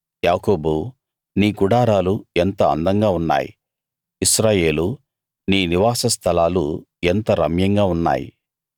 యాకోబూ నీ గుడారాలు ఎంతో అందంగా ఉన్నాయి ఇశ్రాయేలూ నీ నివాసస్థలాలు ఎంత రమ్యంగా ఉన్నాయి